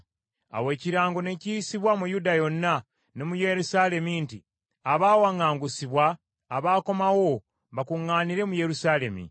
Awo ekirango ne kiyisibwa mu Yuda yonna ne mu Yerusaalemi nti abawaŋŋangusibwa abaakomawo bakuŋŋaanire mu Yerusaalemi.